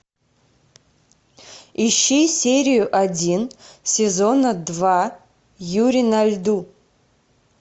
ищи серию один сезона два юрий на льду